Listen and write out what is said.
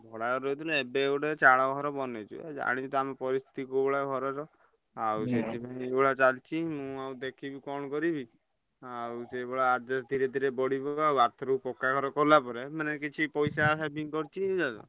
ଭଡା ଘରେ ରହୁଥିଲୁ ଏବେ ଗୋଟେ ଚାଳଘର ବନେଇଚୁ ଜାଣିଚୁ ତ ଆମ ପରିସ୍ଥିତି କୋଉ ଭଳିଆ ଘରର। ଆଉ ଯୋଉଭଳିଆ ଚାଲଚି ମୁଁ ଆଉ ଦେଖିବି କଣ କରିବି ଆଉ ସେଇଭଳିଆ adjust ଧୀରେ ଧୀରେ ଆଉ ଆର ଥରକୁ ପକ୍କା ଘର କଲା ପରେ ମାନେ କିଛି ପଇସା saving କରିଥିବୁ।